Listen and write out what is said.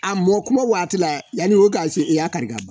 A mɔ kuma waati la yani o ka se i y'a kari!